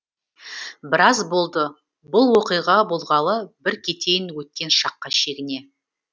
біраз болды бұл оқиға болғалы бір кетейін өткен шаққа шегіне